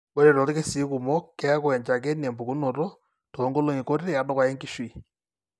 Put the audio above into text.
Ore toorkesii kumok, keeku enchakeni empukunoto toonkolong'i kuti edukuya enkishui.